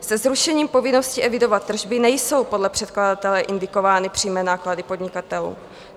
Se zrušením povinnosti evidovat tržby nejsou podle předkladatele indikovány přímé náklady podnikatelů.